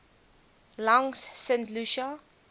langs st lucia